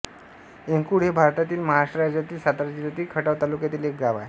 एंकुळ हे भारतातील महाराष्ट्र राज्यातील सातारा जिल्ह्यातील खटाव तालुक्यातील एक गाव आहे